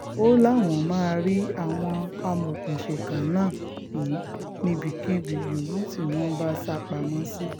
ó láwọn máa rí àwọn amọ̀òkùnsíkà náà mú níbikíbi um yòówù tí wọ́n bá sá um pamọ́ sí